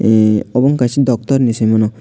obo kaisa doctorni hinwi saimano.